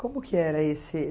Como que era esse?